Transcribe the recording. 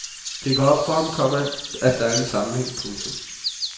Det går op for ham, komma at der er en sammenhæng. punktum